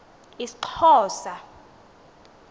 isxhosa